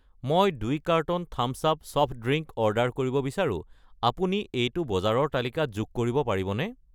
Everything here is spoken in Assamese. মই 2 carton Thums Up soft drink order দিব বিচাৰো, আপুনি এইটো বজাৰৰ তালিকাত যোগ কৰিব পাৰিবনে?